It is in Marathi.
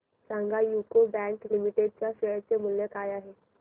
सांगा यूको बँक लिमिटेड च्या शेअर चे मूल्य काय आहे